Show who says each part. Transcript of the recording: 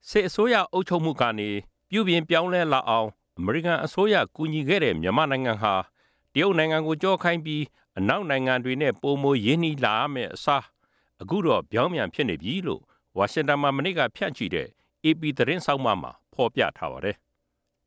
Speaker 1: စစ်အစိုးရအုပ်ချုပ်မှုကနေ ပြုပြင်ပြောင်းလဲလာအောင် အမေရိကန်အစိုးရက ကူညီခဲ့တဲ့ မြန်မာနိုင်ငံဟာ တရုတ်နိုင်ငံကို ကျောခိုင်းပြီး အနောက်နိုင်ငံတွေနဲ့ ပိုမိုရင်းနှီးလာရမယ့်အစား အခုတော့ ပြောင်းပြန်ဖြစ်နေပြီလို့ ဝါရှင်တန်မှာ မနေ့က ဖြန့်ချိတဲ့ အေပီ သတင်းဆောင်းပါးမှာ ဖေါ်ပြထားပါတယ်။